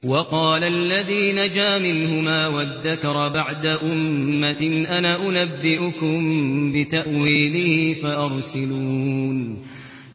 وَقَالَ الَّذِي نَجَا مِنْهُمَا وَادَّكَرَ بَعْدَ أُمَّةٍ أَنَا أُنَبِّئُكُم بِتَأْوِيلِهِ فَأَرْسِلُونِ